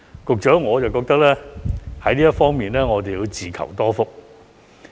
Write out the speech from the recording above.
局長，我覺得我們在這方面要自求多福。